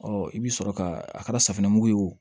i bɛ sɔrɔ ka a kɛra safunɛmugu ye wo